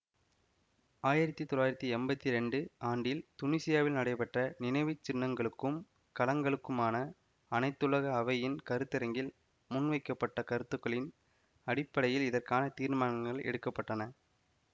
ஆயிரத்தி தொள்ளாயிரத்தி எம்பத்தி இரண்டு ஆண்டில் துனீசியாவில் நடைபெற்ற நினைவுச்சின்னங்களுக்கும் களங்களுக்குமான அனைத்துலக அவையின் கருத்தரங்கில் முன்வைக்கப்பட்ட கருத்துக்களின் அடிப்படையில் இதற்கான தீர்மானங்கள் எடுக்க பட்டன